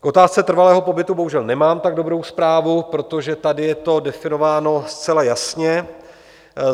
K otázce trvalého pobytu bohužel nemám tak dobrou zprávu, protože tady je to definováno zcela jasně.